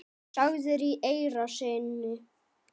sagðir í eyra syni.